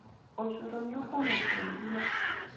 ũcũrũ nĩũkũmũteithia